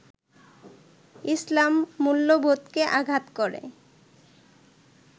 ইসলাম মূল্যবোধকে আঘাত করে